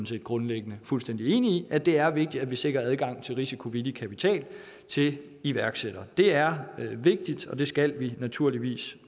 set grundlæggende fuldstændig enig i at det er vigtigt at vi sikrer adgang til risikovillig kapital til iværksættere det er vigtigt og det skal vi naturligvis